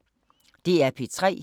DR P3